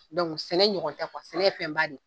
sɛnɛ ɲɔgɔn tɛ sɛnɛ ye fɛn b'a ye de